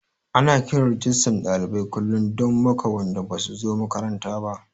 Ana kiran Rijistan ɗalibai kullum don maka wanda basu zo makaranta ba